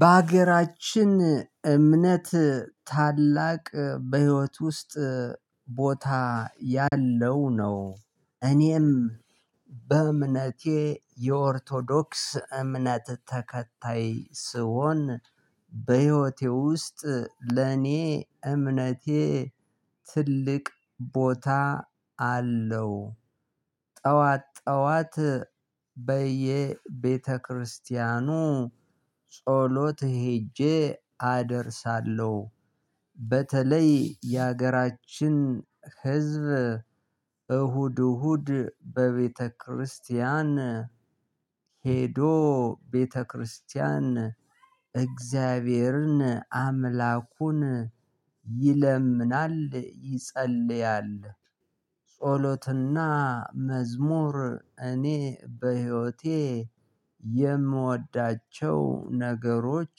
በሀገራችን እምነት ታላቅ በህይወት ውስጥ ቦታ ያለው ነው። እኔም በእምነቴ የኦርቶዶክስ እምነት ተከታይ ስሆን በህይወቴ ውስጥ ለኔ እምነቴ ትልቅ ቦታ አለው። ጠዋት ጠዋት በየቤተክርስቲያኑ ጸሎት ሄጄ አደርሳለሁ። በተለይ የሀገራችን ህዝብ እሁድ እሁድ በቤተክርስቲያን ሄዶ ቤተክርስቲያን እግዚአብሔርን አምላኩን ይለምናል ይጸልያል። ጸሎትና መዝሙር እኔ በህይወቴ የምወዳቸው ነገሮች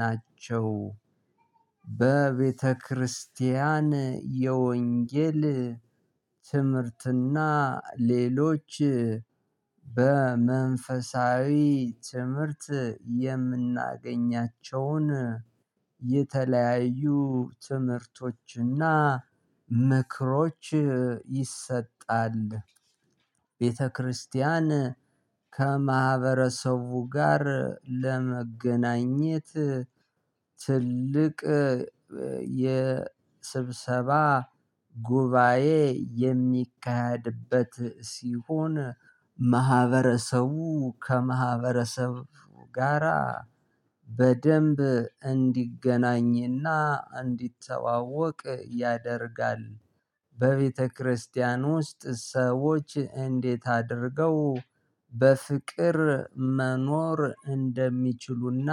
ናቸው። በቤተክርስቲያን የወንጌል ትምህርትና ሌሎች በመንፈሳዊ ትምህርት የምናገኛቸውን የተለያዩ ትምህርቶችና ምክሮች ይሰጣል። ቤተክርስቲያን ከማህበረሰቡ ጋር ለመገናኘት ትልቅ የስብሰባ ጉባኤ የሚካሄድበት ሲሆን ማህበረሰቡ ከማህበረሰቡ ጋራ በደንብ እንዲገናኝና እንዲተዋወቅ ያደርጋል። በቤተክርስቲያን ውስጥ ሰዎች እንዴት አድርገው በፍቅር መኖር እንደሚችሉና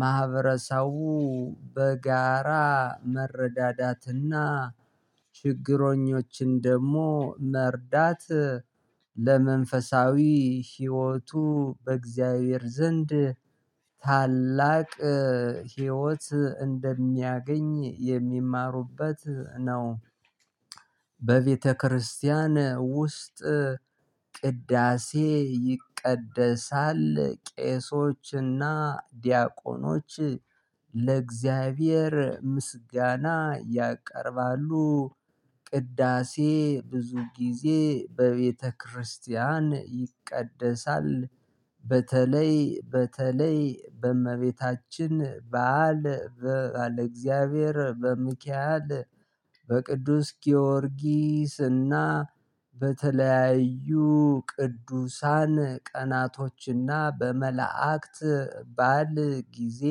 ማህበረሰቡ በጋራ መረዳዳትና ችግኞችን ደግሞ መርዳት ለመንፈሳዊ ህይወቱ በእግዚአብሔር ዘንድ ታላቅ ህይወት እንደሚያገኝ የሚማሩበት ነው። በቤተክርስቲያን ውስጥ ቅዳሴ ይቀደሳል ቄሶችና ዲያቆኖች ለእግዚአብሔር ምስጋና ያቀርባሉ ቅዳሴ ብዙ ጊዜ በቤተክርስቲያን ይቀደሳል። በተለይ በተለይ በእመቤታችን በዓል በእግዚአብሔር እግዚአብሔር በሚካኤል በቅዱስ ጊዮርጊስና በተለያዩ ቅዱሳን ቀናቶችና በመላእክት ባል ጊዜ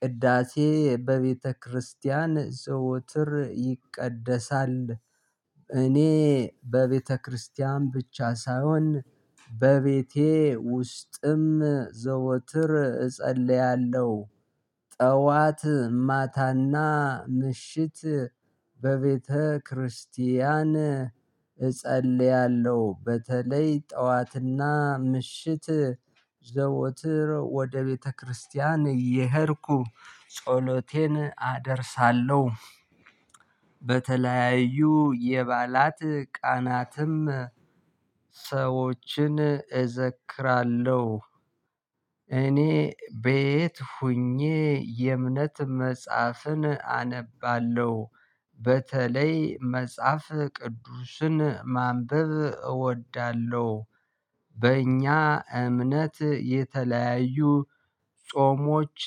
ቅዳሴ በቤተክርስቲያን ዘወትር ይቀደሳል፣ እኔ በቤተክርስቲያን ብቻ ሳይሆን በቤቴ ውስጥም ዘወትር እጸልያለሁ። ጠዋት ማታና ምሽት በቤተክርስቲያን እጸልያለሁ በተለይ ጠዋትና ምሽት ዘወትር ወደ ቤተክርስቲያን እየሄድኩ ጸሎቴን አደርሳለሁ። በተለያዩ የባላት ቀናትም ሰዎችን እዘክራለሁ። እኔ በየት ሆኜ የእምነት መጽሐፍን አነባለሁ። በተለይ መጽሐፍ ቅዱስን ማንበብ እወዳለሁ። በእኛ እምነት የተለያዩ ጾሞች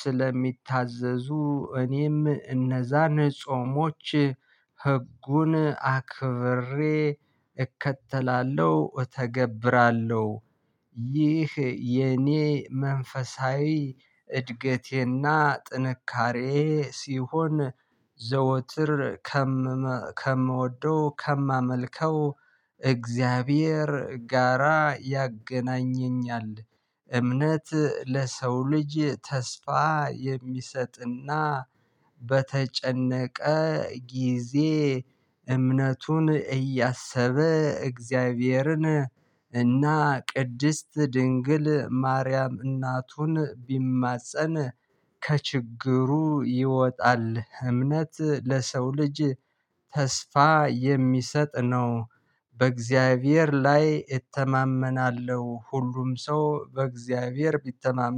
ስለሚታዘዙ እኔም እነዛን ጾሞች ህጉን አክብሬ እከተላለሁ እተገብራለሁ። ይህ የኔ መንፈሳዊ እድገቴና ጥንካሬ ሲሆን ዘወትር ከምወደው ከማመልከው እግዚአብሔር ጋራ ያገናኘኛል። እምነት ለሰው ልጅ ተስፋ የሚሰጥና በተጨነቀ ጊዜ እምነቱን እያሰበ እግዚአብሔርን እና ቅድስት ድንግል ማርያም እናቱን ቢማፀን ከችግሩ ይወጣል። እምነት ለሰው ልጅ ተስፋ የሚሰጥ ነው። በእግዚአብሔር ላይ እተማመናለሁ ሁሉም ሰው በእግዚአብሔር ቢተማመን፣